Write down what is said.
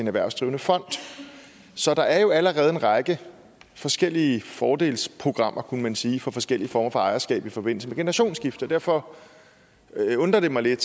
erhvervsdrivende fond så der er jo allerede en række forskellige fordelsprogrammer kunne man sige for forskellige former for ejerskab i forbindelse med generationsskifte derfor undrer det mig lidt